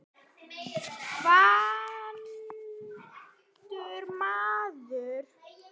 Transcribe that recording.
Vanur maður.